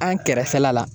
An kɛrɛfɛla la